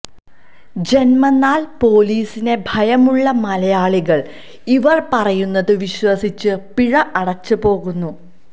ജന്മനാല് പോലീസിനെ ഭയമുള്ള മലയാളികള് ഇവര് പറയുന്നത് വിശ്വസിച്ച് പിഴ അടച്ച് പോകുന്നു